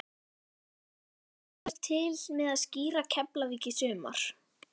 Blaðamaður: Þú kemur til með að stýra Keflavík í sumar?